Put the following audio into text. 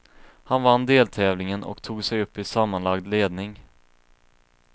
Han vann deltävlingen och tog sig upp i sammanlagd ledning.